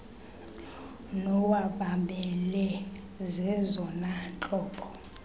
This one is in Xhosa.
nowamabele zezona ntlobo